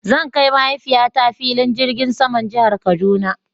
Zan kai mahaifiya ta filin jirgin saman jihar kaduna